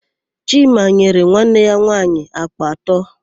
Chima nyere nwanne ya nwaanyị àkpà atọ.